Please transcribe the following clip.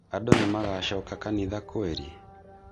Andũ nimagacoka kanitha kweri?